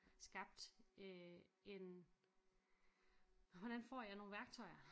Skab øh en hvordan for jeg nogle værktøjer